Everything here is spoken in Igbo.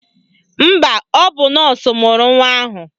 Mba, ọ bụ nọọsụ mụrụ nwa ahụ.